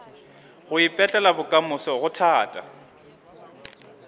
go ipetlela bokamoso go thata